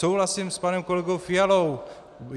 Souhlasím s panem kolegou Fialou.